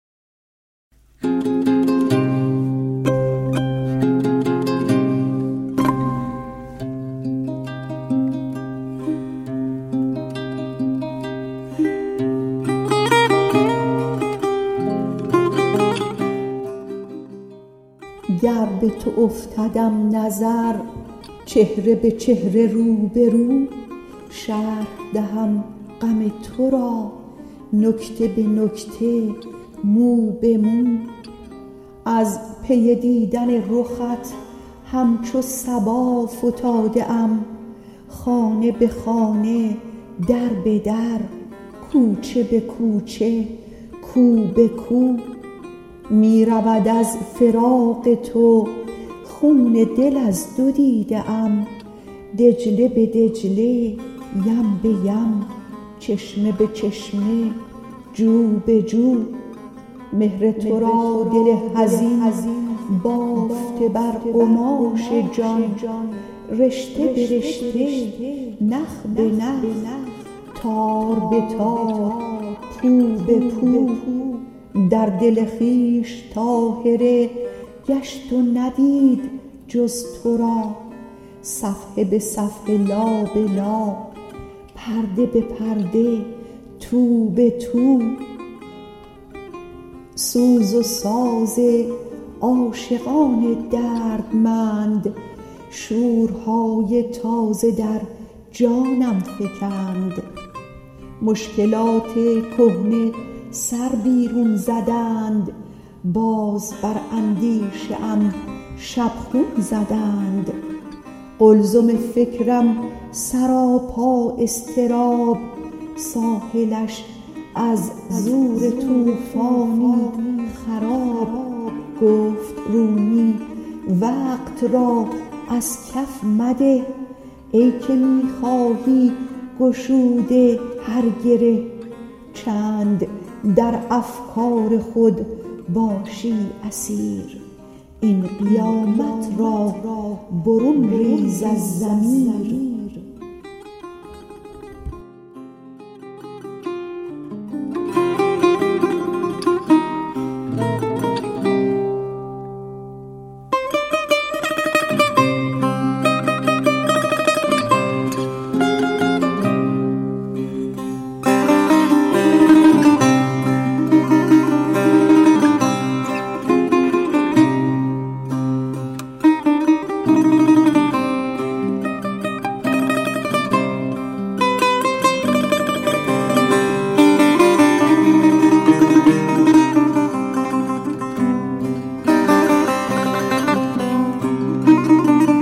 گر به تو افتدم نظر چهره به چهره رو به رو شرح دهم غم تو را نکته به نکته مو به مو از پی دیدن رخت همچو صبا فتاده ام خانه به خانه در به در کوچه به کوچه کو به کو می رود از فراق تو خون دل از دو دیده ام دجله به دجله یم به یم چشمه به چشمه جو به جو مهر تو را دل حزین بافته بر قماش جان رشته به رشته نخ به نخ تار به تار پو به پو در دل خویش طاهره گشت و ندید جز تو را صفحه به صفحه لا به لا پرده به پرده تو به تو سوز و ساز عاشقان دردمند شورهای تازه در جانم فکند مشکلات کهنه سر بیرون زدند باز بر اندیشه ام شبخون زدند قلزم فکرم سراپا اضطراب ساحلش از زور طوفانی خراب گفت رومی وقت را از کف مده ای که میخواهی گشوده هر گره چند در افکار خود باشی اسیر این قیامت را برون ریز از ضمیر